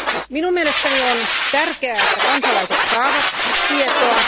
Minun mielestäni on tärkeää, että kansalaiset saavat tietoa.